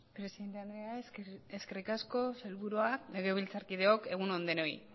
presidente andrea eskerrik asko sailburuak legebiltzarkideok egun on denoi